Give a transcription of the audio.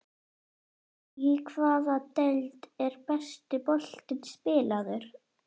Í hvaða deild er besti boltinn spilaður?